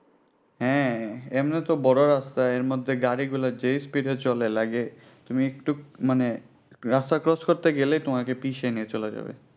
হ্যাঁ এমনি তো বড় রাস্তা এর মধ্যে গাড়িগুলা যেই speed এ চলে লাগে তুমি একটু মানে রাস্তা cross করতে গেলে তোমাকে পিষে নিয়ে চলে যাবে।